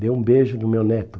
Dê um beijo no meu neto.